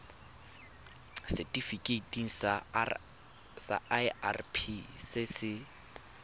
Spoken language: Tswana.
setifikeiting sa irp se se